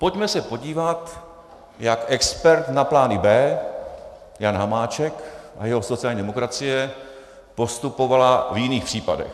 Pojďme se podívat, jak expert na plány B Jan Hamáček a jeho sociální demokracie postupovali v jiných případech.